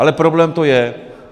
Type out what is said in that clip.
Ale problém to je.